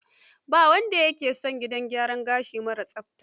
Ba wanda ya ke son gidan gyaran gashi mara tsafta.